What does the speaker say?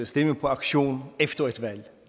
stemme på auktion efter et valg